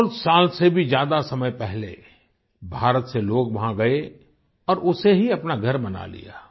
सौसाल से भी ज्यादा समय पहले भारत से लोग वहाँ गए और उसे ही अपना घर बना लिया